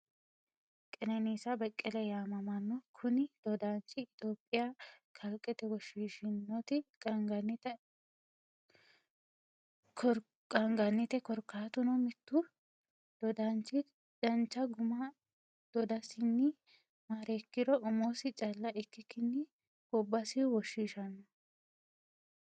Kenenisa bekele yaamamano, kuni dodaanichi itoophiyaa kaliqete woshiishinotti qaa'nganite korikatuno mitu dodaanchi dancha guma dodasinni mareekiro umosi calla ikkikinni gobasi woshshishano